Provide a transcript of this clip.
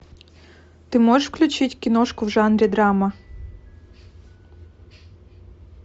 ты можешь включить киношку в жанре драма